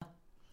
DR2